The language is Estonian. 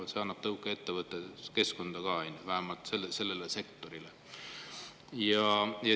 Ja see annab tõuke ettevõtluskeskkonnale ka, vähemalt sellele sektorile.